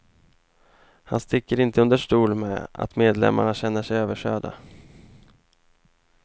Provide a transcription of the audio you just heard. Han sticker inte under stol med att medlemmarna känner sig överkörda.